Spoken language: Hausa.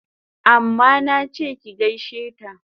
Amma nache ki gaishe ta!